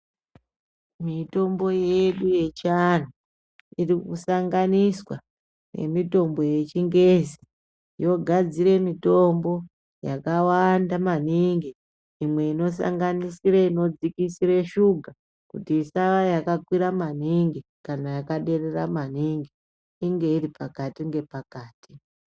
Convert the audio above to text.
Mitombo yedu yechianhu irikusanganiswa nemitombo yechingezi yogadzire mitombo yakawanda maningi imwe inosanganisira inodzikisire shuga kuti isava yakakwira maningi kana yakaderera maningi inge iropakati nepakati.